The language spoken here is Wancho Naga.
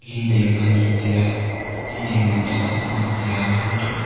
leding anyi taiya leding ma dahzat nam taiya hantohley--